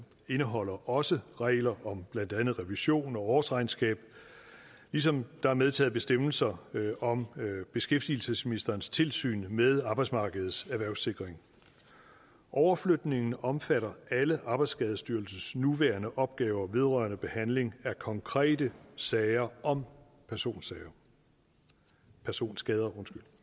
indeholder også regler om blandt andet revision og årsregnskab ligesom der er medtaget bestemmelser om beskæftigelsesministerens tilsyn med arbejdsmarkedets erhvervssikring overflytningen omfatter alle arbejdsskadestyrelsens nuværende opgaver vedrørende behandling af konkrete sager om personskader personskader